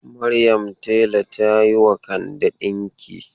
Maryam tela ta yi wa Kande dinki.